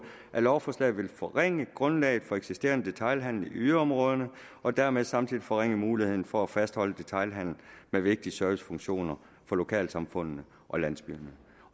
lovforslaget vil forringe grundlaget for eksisterende detailhandel i yderområderne og dermed samtidig forringe muligheden for at fastholde detailhandel med vigtige servicefunktioner for lokalsamfundene og landsbyerne